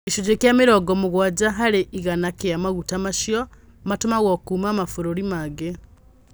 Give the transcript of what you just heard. Gĩcunjĩ kĩa Mirongo mugwanja varĩ igana kĩa maguta macio matumagwo kuuma mavũrũri mangĩ.